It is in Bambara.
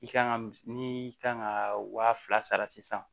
I kan ka ni kan ka wa fila sara sisan